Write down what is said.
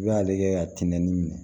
I b'ale kɛ ka tɛnɛnni minɛ